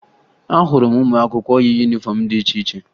Ahụrụ m ụmụakwụkwọ yi yunifọmụ dị iche iche